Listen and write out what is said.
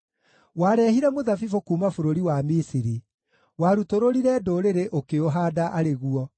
Wareehire mũthabibũ kuuma bũrũri wa Misiri; warutũrũrire ndũrĩrĩ ũkĩũhaanda arĩ guo.